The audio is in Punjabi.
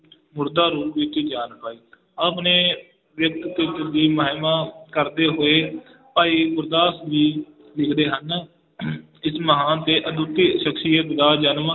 ਮੁਰਦਾ ਰੂਪ ਵਿੱਚ ਜਾਨ ਪਾਈ ਆਪ ਨੇ ਦੀ ਮਹਿਮਾ ਕਰਦੇ ਹੋਏ ਭਾਈ ਗੁਰਦਾਸ ਜੀ ਲਿਖਦੇ ਹਨ ਇਸ ਮਹਾਨ ਤੇ ਅਦੁੱਤੀ ਸਖ਼ਸੀਅਤ ਦਾ ਜਨਮ